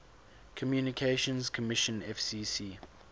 communications commission fcc